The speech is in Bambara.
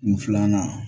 N filanan